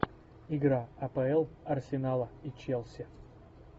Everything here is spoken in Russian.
игра апл арсенала и челси